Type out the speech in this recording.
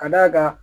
Ka d'a kan